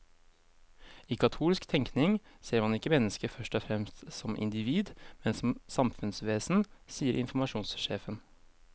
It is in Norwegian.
I katolsk tenkning ser man ikke mennesket først og fremst som individ, men som samfunnsvesen, sier informasjonssjefen.